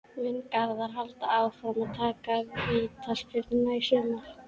Mun Garðar halda áfram að taka vítaspyrnurnar í sumar?